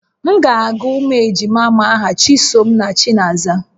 M ga-agụ ụmụ ejima m aha Chisom na Chinaza